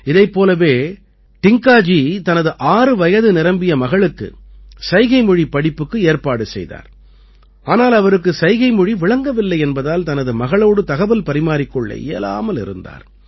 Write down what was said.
இதைப் போலவே டிங்காஜி தனது ஆறு வயது நிரம்பிய மகளுக்கு சைகைமொழிப் படிப்புக்கு ஏற்பாடு செய்தார் ஆனால் அவருக்கு சைகைமொழி விளங்கவில்லை என்பதால் தனது மகளோடு தகவல் பரிமாறிக் கொள்ள இயலாமல் இருந்தார்